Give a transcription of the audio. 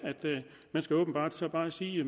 man skal åbenbart så bare sige